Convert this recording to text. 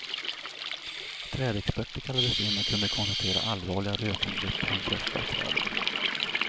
Trädexperter kallades in och kunde konstatera allvarliga rötangrepp på de flesta av träden.